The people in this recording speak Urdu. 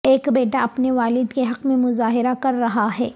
ایک بیٹا اپنے والد کے حق میں مظاہرہ کر رہا ہے